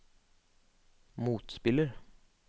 motspiller